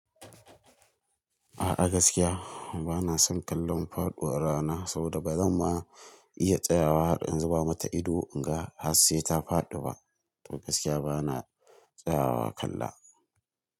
A'a gaskiya bana son kallon faɗuwar rana saboda bazan ma iya tsayawa har in zuba mata ido in ga har sai ta faɗi ba. To gaskiya bana tsayawa kalla.